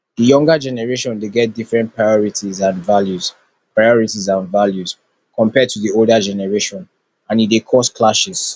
di younger generation dey get different priorities and values priorities and values compared to di older generation and e dey cause clashes